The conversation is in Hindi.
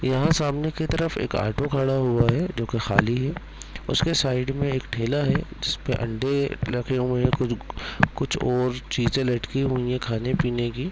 यहाँ सामने की तरफ एक ऑटो खड़ा हुआ है जो कि खाली है उसके साइड में एक ठेला है जिसपे अंडे रखे हुए हैं कुछ और चींज़े लटकी हुई है खाने पीने की।